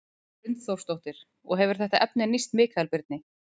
Hrund Þórsdóttir: Og hefur þetta efni nýst Mikael Birni?